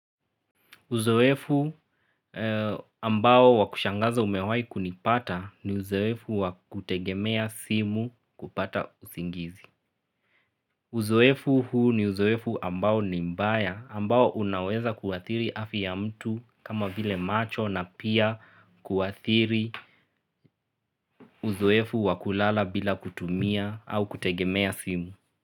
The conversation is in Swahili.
Uzoefu ambao wakushangaza umewahi kunipata ni uzoefu wakutegemea simu kupata usingizi. Uzoefu huu ni uzoefu ambao ni mbaya ambao unaweza kuathiri afya ya mtu kama vile macho na pia kuathiri uzoefu wakulala bila kutumia au kutegemea simu.